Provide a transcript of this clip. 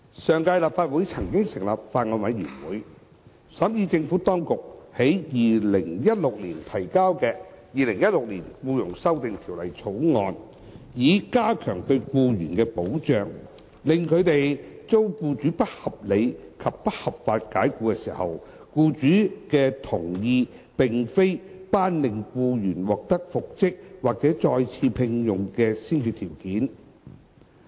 上屆立法會曾成立法案委員會審議政府當局於2016年提交的《2016年僱傭條例草案》，以加強對僱員的保障，令他們遭僱主不合理及不合法解僱時，僱主的同意並非頒令僱員獲得復職或再次聘用的先決條件。